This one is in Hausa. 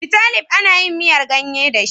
Bitalib ana yin miyar gayye da shi.